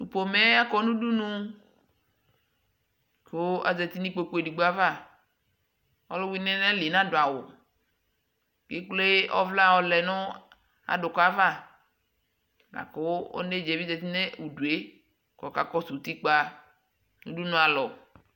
pɔmɛ akɔ nʋ ʋdʋnʋ kʋ zati nʋ ikpɔkʋ ɛdigbɔ aɣa, ɔlʋwini nʋaliɛ nadʋ awʋ kɛ ɛkplɛ ɔvla yɔlɛnʋ adʋkʋ aɣa lakʋ ɔnɛdzaɛ bi zati nʋ ʋdʋɛ kʋ ɔkakɔsʋ ʋtikpa nʋ ʋdʋnʋ alɔ